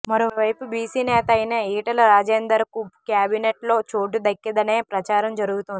మరోవైపు బీసీ నేత అయిన ఈటల రాజేందర్ కు క్యాబినెట్ లో చోటు దక్కదనే ప్రచారం జరుగుతోంది